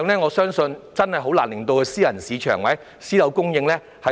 我相信這個比例難以應付私人市場或私樓供應。